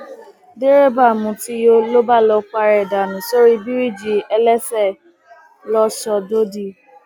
derébà mutí yó ló bá lọọ para ẹ dànù sórí bíríìjì ẹlẹsẹ lọsọdọdí